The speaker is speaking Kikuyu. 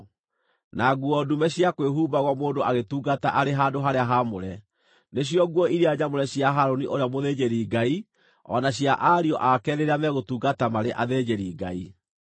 na nguo ndume cia kwĩhumbagwo mũndũ agĩtungata arĩ handũ-harĩa-haamũre; nĩcio nguo iria nyamũre cia Harũni ũrĩa mũthĩnjĩri-Ngai o na cia ariũ ake rĩrĩa megũtungata marĩ athĩnjĩri-Ngai.”